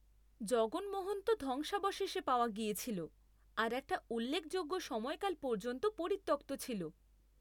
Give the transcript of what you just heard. জগনমোহন তো ধ্বংসাবশেষে পাওয়া গিয়েছিল আর একটা উল্লেখযোগ্য সময়কাল পর্যন্ত পরিত্যক্ত ছিল।